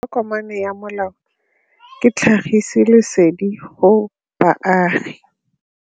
Tokomane ya molao ke tlhagisi lesedi go baagi.